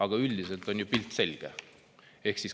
Aga üldiselt on ju pilt selge.